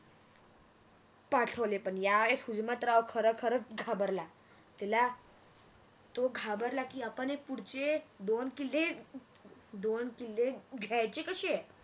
पाठवले पण या वेळेस हुजमतराव खर खरच घाबरला आह तिला हम्म तो घाबरला की की आपण हे पुढचे दोन किल्ले अं घ्यायचे कसे